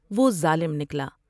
وہ ظالم نکلا ۔